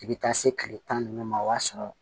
I bɛ taa se kile tan ni duuru ma o b'a sɔrɔ